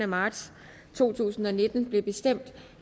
marts to tusind og nitten blev bestemt